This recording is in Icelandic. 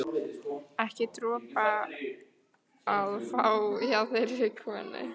Ekki dropa að fá hjá þeirri konu.